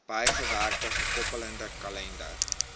bygewerkte gekoppelde kalender